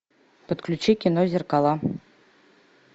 подключи кино зеркала